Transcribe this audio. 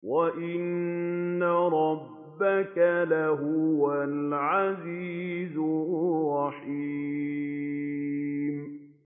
وَإِنَّ رَبَّكَ لَهُوَ الْعَزِيزُ الرَّحِيمُ